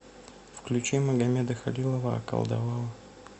включи магамеда халилова околдовала